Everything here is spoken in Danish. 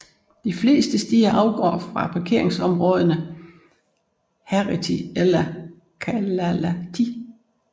De fleste stier afgår fra parkeringsområderne Heretty eller Kalalahti